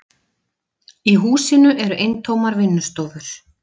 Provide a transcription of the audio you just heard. Í húsinu eru eintómar vinnustofur.